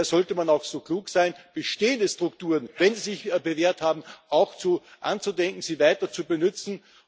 Daher sollte man auch so klug sein, bestehende Strukturen, wenn sie sich bewährt haben, anzudenken, sie weiter zu benützen.